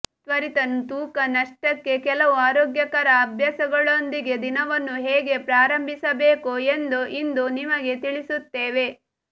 ತ್ವರಿತ ತೂಕ ನಷ್ಟಕ್ಕೆ ಕೆಲವು ಆರೋಗ್ಯಕರ ಅಭ್ಯಾಸಗಳೊಂದಿಗೆ ದಿನವನ್ನು ಹೇಗೆ ಪ್ರಾರಂಭಿಸಬೇಕು ಎಂದು ಇಂದು ನಿಮಗೆ ತಿಳಿಸುತ್ತೇವೆ